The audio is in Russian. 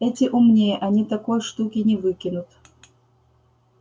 эти умнее они такой штуки не выкинут